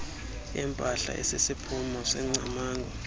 empahla esisiphumo sengcamango